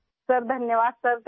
شکریہ سر ، شکریہ سر